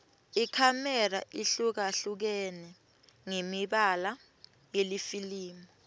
ikhamera ihlukahlukene ngemibala yelifilimu